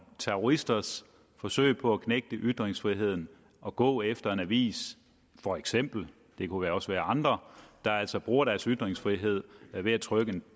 terroristers forsøg på at knægte ytringsfriheden og gå efter en avis for eksempel det kunne også være efter andre der altså bruger deres ytringsfrihed ved at trykke